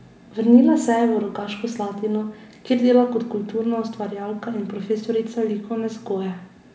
Vrnila se je v Rogaško Slatino, kjer dela kot kulturna ustvarjalka in profesorica likovne vzgoje.